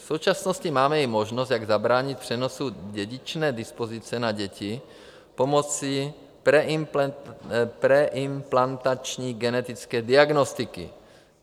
V současnosti máme i možnost, jak zabránit přenosu dědičné dispozice na děti pomocí preimplantační genetické diagnostiky.